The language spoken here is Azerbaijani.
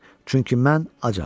Çünki mən acam.